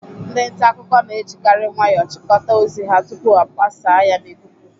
Ndị nta akụkọ na-ejikari nwayọọ chịkọta ozi ha tupuu agbasaa ya n'ikuku.